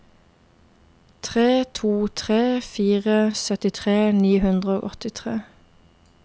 tre to tre fire syttitre ni hundre og åttitre